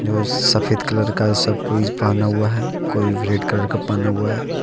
सफेद कलर का सब कोई पहना हुआ है कोई रेड कलर का पहना हुआ है।